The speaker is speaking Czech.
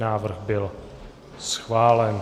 Návrh byl schválen.